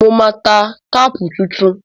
Mo máa ta táàpù tuntun.